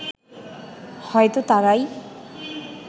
হয়তো তারাই